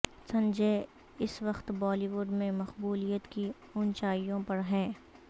سنجے اس وقت بالی وڈ میں مقبولیت کی اونچائیوں پر ہیں